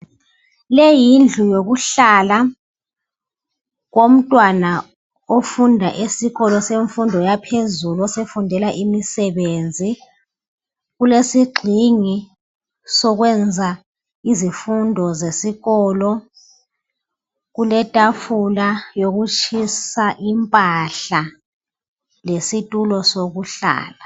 Leyi yindlu yokuhlala komntwana ofunda isikolo semfundo yaphezulu osefundela imisebenzi, kulesigxingi sokwenza izifundo zesikolo, kuletafula yokutshisa impahla lesitulo sokuhlala